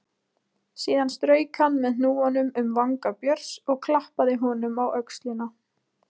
Síðan strauk hann með hnúanum um vanga Björns og klappaði honum á öxlina.